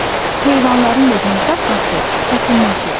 Heyvanların da yem tapması çətinləşir.